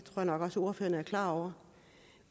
jeg nok også ordførerne er klar over